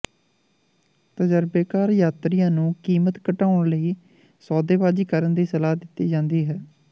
ਤਜਰਬੇਕਾਰ ਯਾਤਰੀਆਂ ਨੂੰ ਕੀਮਤ ਘਟਾਉਣ ਲਈ ਸੌਦੇਬਾਜ਼ੀ ਕਰਨ ਦੀ ਸਲਾਹ ਦਿੱਤੀ ਜਾਂਦੀ ਹੈ